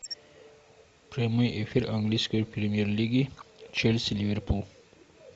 прямой эфир английской премьер лиги челси ливерпуль